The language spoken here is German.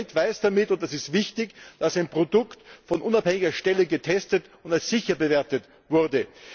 Der Konsument weiß damit und das ist wichtig dass ein Produkt von unabhängiger Stelle getestet und als sicher bewertet wurde.